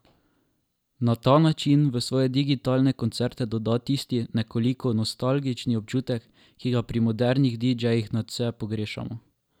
Na ta način v svoje digitalne koncerte doda tisti nekoliko nostalgični občutek, ki ga pri modernih didžejih nadvse pogrešamo.